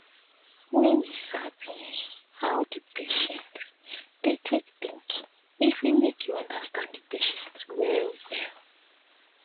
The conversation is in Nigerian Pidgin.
wen you sabi um how d um patient dey take think e fit make you understand the patients well well